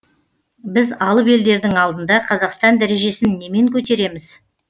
біз алып елдердің алдында қазақстан дәрежесін немен көтереміз